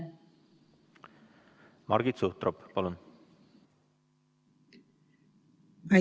Margit Sutrop, palun!